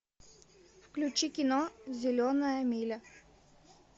включи кино зеленая миля